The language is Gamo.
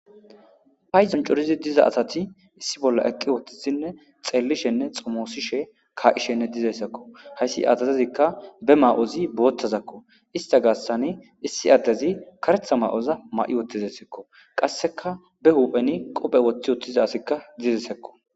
paydon corizi diza asati issi bolla eqqi wottisinne xeellishenne xomoosishe kaa7ishenne dizayssakko hayssi azazezikka be ma7ozi boottazakko ista gaassani issi addezi karetha ma7oza ma7i wottizayssekko qasseka be hupheni qophe woththi wottiza asikka dizesekko